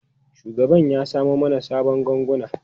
Shugaban ya samo mana sabon ganguna.